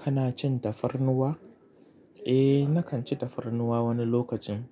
Kana cin tafarnuwa? Eh, nakan ci tafarnuwa wani lokacin,